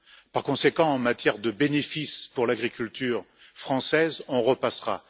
Par conséquent, en matière de bénéfice pour l'agriculture française, on repassera.